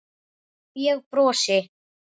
Ég brosi.